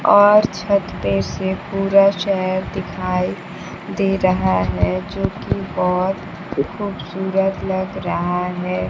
और छत पे से पूरा शहर दिखाई दे रहा है जो की बहोत ही खूबसूरत लग रहा है।